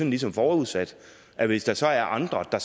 ligesom forudsat at hvis der så er andre der